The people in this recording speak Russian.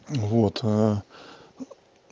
вот